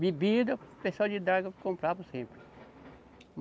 Bebida, pessoal de draga comprava sempre.